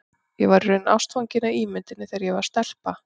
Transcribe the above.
Ég var í raun ástfangin af ímynduninni þegar ég var stelpa.